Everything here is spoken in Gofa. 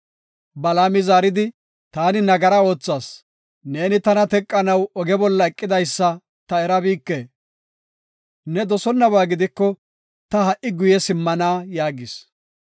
Balaami zaaridi, “Taani nagara oothas; neeni tana teqanaw oge bolla eqidaysa ta erabike. Ne dosonnaba gidiko ta ha77i guye simmana” yaagis.